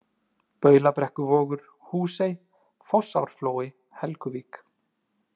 Baulubrekkuvogur, Húsey, Fossárflói, Helguvík